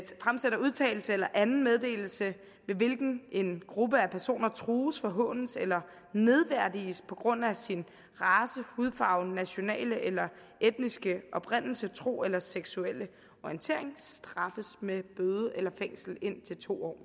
fremsætter udtalelse eller anden meddelelse ved hvilken en gruppe af personer trues forhånes eller nedværdiges på grund af sin race hudfarve nationale eller etniske oprindelse tro eller seksuelle orientering straffes med bøde eller fængsel indtil to år